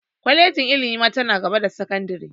Kwalejin ilimi ma ta na gaba da sakandire